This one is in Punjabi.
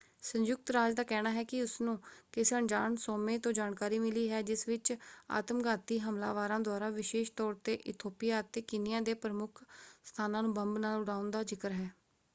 ਸੰਯੁਕਤ ਰਾਜ ਦਾ ਕਹਿਣਾ ਹੈ ਕਿ ਉਸਨੂੰ ਕਿਸੇ ਅਣਜਾਣ ਸੋਮੇ ਤੋਂ ਜਾਣਕਾਰੀ ਮਿਲੀ ਹੈ ਜਿਸ ਵਿੱਚ ਆਤਮਘਾਤੀ ਹਮਲਾਵਰਾਂ ਦੁਆਰਾ ਵਿਸ਼ੇਸ਼ ਤੌਰ 'ਤੇ ਇਥੋਪੀਆ ਅਤੇ ਕੀਨੀਆ ਦੇ ਪ੍ਰਮੁੱਖ ਸਥਾਨਾਂ ਨੂੰ ਬੰਬ ਨਾਲ ਉਡਾਉਣ ਦਾ ਜ਼ਿਕਰ ਹੈ।